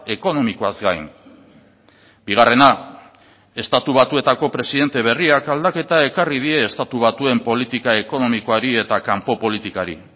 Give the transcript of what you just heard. ekonomikoaz gain bigarrena estatu batuetako presidente berriak aldaketa ekarri die estatu batuen politika ekonomikoari eta kanpo politikari